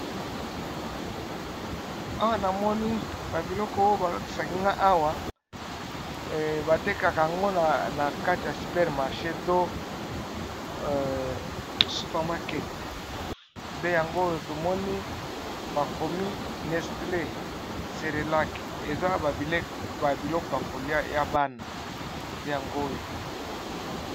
Awa na moni ba biloko yo bazo lakkisaka nga awa bavtekaka yango na kati ya super marche to supermarket, nde yango oyo to moni ba komi nestlee, cerelac, eza ba biloko ya kolia ya bana nde yango oyo .